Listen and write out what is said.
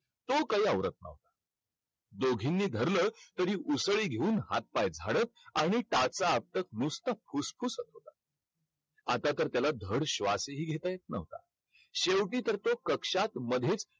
तो काही आवरत नव्हता. दोघींनी धरलं तरी उसळी घेऊन हात-पाय झाडत आणि टाचा आपटत नुसतं फुसफूसत होता. आतातर त्याला धड श्वासही घेता येत नव्हता. शेवटी तर तो कक्षात मध्येच